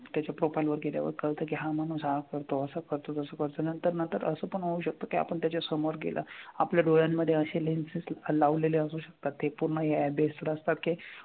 त्याच्या profile वर कळतं की हा माणूस हा करतो असं करतो, तसं करतो नंतर नंतर असं पण होऊ शकतं की आपण त्याच्यासमोर गेला आपल्या डोळ्यांमधे असे lenses लावलेले असू शकतात ते पूर्ण app base वर असतात की,